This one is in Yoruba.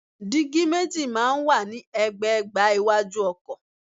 Dígí méjì máa ń wà ní ẹ̀gbẹ̀ẹ̀gbá iwájú ọkọ̀.